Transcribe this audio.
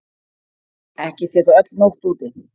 Ekki sé þó öll nótt úti.